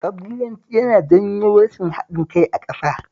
Ƙabilanci yana janyo rashin haɗin kai a ƙasa